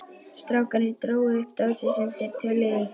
Strákarnir drógu upp dósir sem þeir töluðu í.